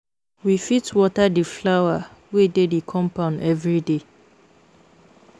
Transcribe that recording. We fit water di flower wey dey di compound everyday